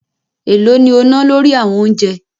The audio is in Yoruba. Èló ni o ná lórí àwọn oúnjẹ?